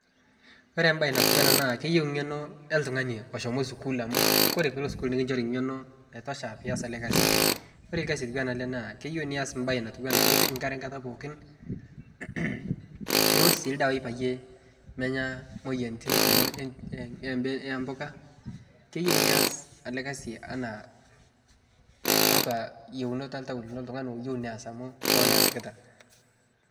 Ore baye natuwana ana naa keyeu ng'eno eltung'ani oshomo sukul amu kore piilo sukul nikichori ng'eno naitosha piias ale gasi, ore lgasi otuwana ale naa keyeu nias baye natuwana ipik nkare nkata pookin niwosh sii ldawa payie menya moyianitin kumo ee ebe embuka, keyeu nias ale gasi ana taatwa yeunot eltau lino ltung'ani loyeu neas amu koon easikita.